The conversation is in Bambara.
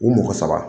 U mɔgɔ saba